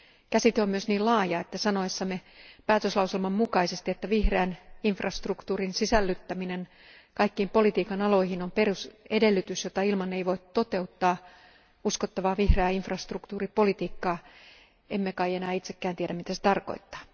Käsite on myös niin laaja, että sanoessamme päätöslauselman mukaisesti, että vihreän infrastruktuurin sisällyttäminen kaikkiin politiikan aloihin on perusedellytys, jota ilman ei voi toteuttaa uskottavaa vihreää infrastruktuuripolitiikkaa, emme kai enää itsekään tiedä, mitä se tarkoittaa.